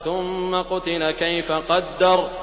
ثُمَّ قُتِلَ كَيْفَ قَدَّرَ